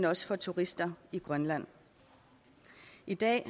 også for turister i grønland i dag